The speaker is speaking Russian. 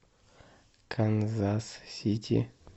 канзас сити